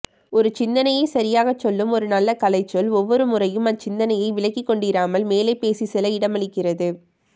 ஒரு சிந்தனையை சரியாகச் சொல்லும் ஒரு நல்ல கலைச்சொல் ஒவ்வொருமுறையும் அச்சிந்தனையை விளக்கிக்கொண்டிராமல் மேலே பேசிச்செல்ல இடமளிக்கிறது